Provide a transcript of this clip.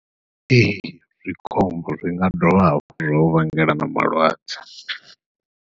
Ee, zwi khombo, zwi nga dovha hafhu zwa u vhangela na malwadze.